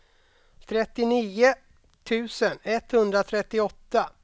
trettionio tusen etthundratrettioåtta